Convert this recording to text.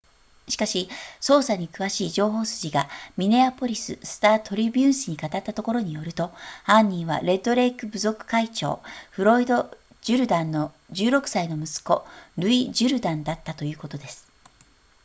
しかし捜査に詳しい情報筋がミネアポリススタートリビューン紙に語ったところによると犯人はレッドレイク部族会長フロイドジュルダンの16歳の息子ルイジュルダンだったということです